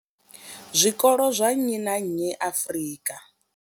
Zwikolo zwa nnyi na nnyi Afrika.